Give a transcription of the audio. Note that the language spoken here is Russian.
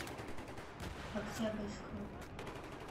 октябрьскому